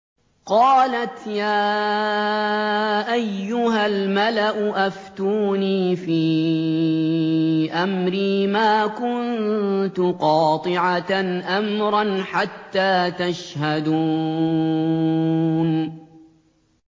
قَالَتْ يَا أَيُّهَا الْمَلَأُ أَفْتُونِي فِي أَمْرِي مَا كُنتُ قَاطِعَةً أَمْرًا حَتَّىٰ تَشْهَدُونِ